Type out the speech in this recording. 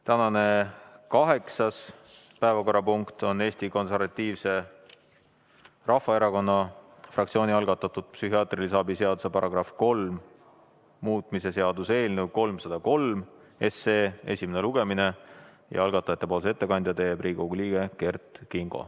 Tänane kaheksas päevakorrapunkt on Eesti Konservatiivse Rahvaerakonna fraktsiooni algatatud psühhiaatrilise abi seaduse § 3 muutmise seaduse eelnõu 303 esimene lugemine ja algatajate nimel teeb ettekande Riigikogu liige Kert Kingo.